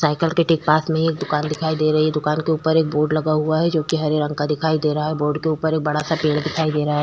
Cycle के ठीक पास में एक दूकान दिखाई दे रही है दुकान के ऊपर एक बोर्ड लगा हुआ है जोकि हरे रंग का है बोर्ड के ऊपर एक बड़ा सा पेड़ दिखाई दे रहा है ।